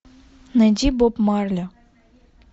найди боб марли